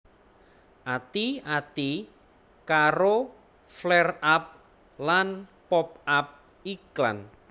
Ati ati karo flareup lan pop up iklan